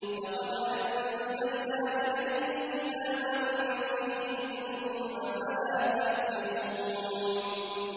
لَقَدْ أَنزَلْنَا إِلَيْكُمْ كِتَابًا فِيهِ ذِكْرُكُمْ ۖ أَفَلَا تَعْقِلُونَ